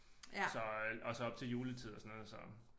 Så øh og så op til juletid og sådan noget så